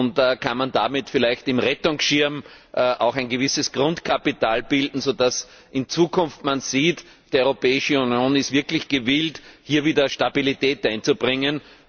Und kann man damit vielleicht im Rettungsschirm auch ein gewisses Grundkapital bilden, sodass man in Zukunft sieht Die Europäische Union ist wirklich gewillt, hier wieder Stabilität einzubringen?